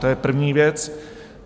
To je první věc.